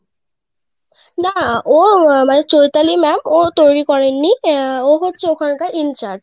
না ও আমার চৈতালি ma'am ও তৈরি করেন নি ও হচ্ছে ওখান কার in charge.